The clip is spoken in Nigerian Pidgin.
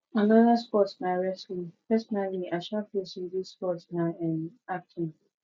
another sports na wrestling personally i um feel say this sports na um acting